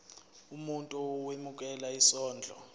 umuntu owemukela isondlo